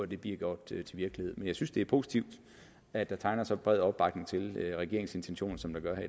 det bliver gjort til virkelighed men jeg synes det er positivt at der tegner så bred opbakning til regeringens intentioner som der gør